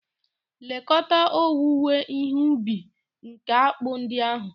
Lekọta owuwe ihe ubi nke akpụ ndị ahụ!